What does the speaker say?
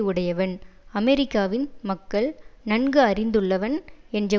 உடையவன் அமெரிக்காவின் மக்கள் நன்கு அறிந்துள்ளவன் என்ற